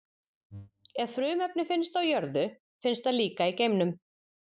Ef frumefni finnst á jörðu, finnst það líka í geimnum.